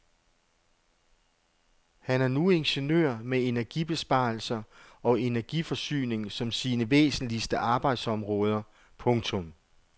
Han er nu ingeniør med energibesparelser og energiforsyning som sine væsentligste arbejdsområder. punktum